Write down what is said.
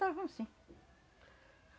Davam sim.